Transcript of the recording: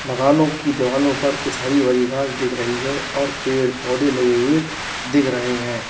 मकानों की दीवालों पर कुछ हरी भरी घास दिख रही है और पेड़ पौधे लगे हुए दिख रहे हैं।